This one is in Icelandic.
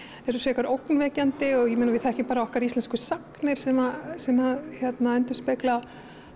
eru ógnvekjandi við þekkjum okkar íslensku sagnir sem sem að endurspegla